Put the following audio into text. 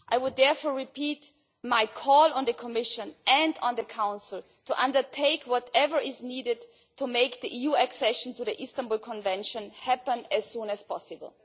I would therefore repeat my call on the Commission and on the Council to undertake whatever is needed to make the EU accession to the Istanbul Convention happen as soon as possible.